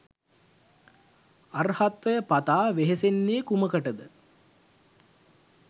අර්හත්වය පතා වෙහෙසෙන්නේ කුමකටද?